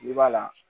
I b'a la